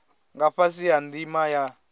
nga fhasi ha ndima ya